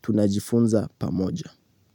tunajifunza pamoja.